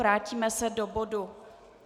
Vrátíme se do bodu